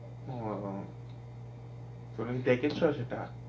ও তুমি কি দেখেছ সেটা?